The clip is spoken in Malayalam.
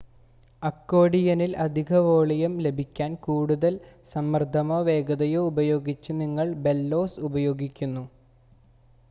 അക്കോഡിയനിൽ അധിക വോളിയം ലഭിക്കാൻ കൂടുതൽ സമ്മർദ്ദമോ വേഗതയോ ഉപയോഗിച്ച് നിങ്ങൾ ബെല്ലോസ് ഉപയോഗിക്കുന്നു